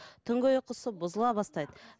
түнгі ұйқысы бұзыла бастайды